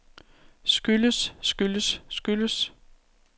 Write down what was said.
skyldes skyldes skyldes